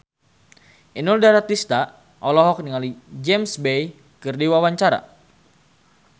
Inul Daratista olohok ningali James Bay keur diwawancara